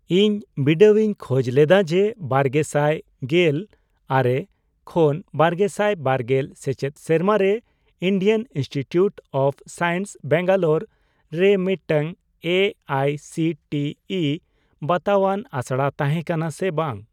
ᱤᱧ ᱵᱤᱰᱟᱣᱤᱧ ᱠᱷᱚᱡᱽ ᱞᱮᱫᱟ ᱡᱮ ᱵᱟᱨᱜᱮᱥᱟᱭ ᱜᱮᱞ ᱟᱨᱮ ᱠᱷᱚᱱ ᱵᱟᱨᱜᱮᱥᱟᱭ ᱵᱟᱨᱜᱮᱞ ᱥᱮᱪᱮᱫ ᱥᱮᱨᱢᱟᱨᱮ Indian institute of science Bangalore ᱨᱮ ᱢᱤᱫᱴᱟᱝ A I C T E ᱵᱟᱛᱟᱣᱟᱱ ᱟᱥᱲᱟ ᱛᱟᱦᱮᱸ ᱠᱟᱱᱟ ᱥᱮ ᱵᱟᱝ ?